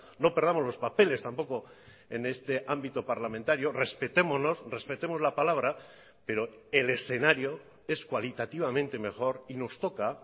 no perdamos los papeles tampoco en este ámbito parlamentario respetémonos respetemos la palabra pero el escenario es cualitativamente mejor y nos toca